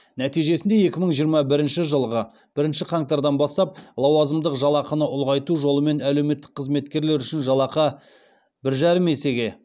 нәтижесінде екі мың жиырма бірінші жылғы бірінші қаңтардан бастап лауазымдық жалақыны ұлғайту жолымен әлеуметтік қызметкерлер үшін жалақы бір жарым есеге